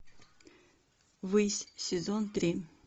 высь сезон три